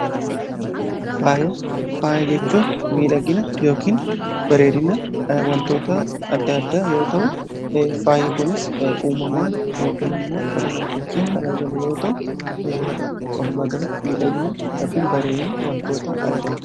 faaya jechuun miidhagina yookin barenina wantoota adda addaa yoo ta'u faayyi kunis uumamaan ykn immoo kara namtochiin kan argamu yoo ta'u ol magalatti miidhagina kn bareenina wantoota addaada